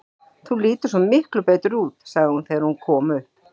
Þú lítur svo miklu betur út, sagði hún þegar hún kom upp.